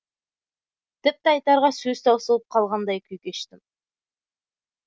тіпті айтарға сөз таусылып қалғандай күй кештім